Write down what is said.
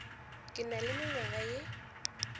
ke na le mengwaga ye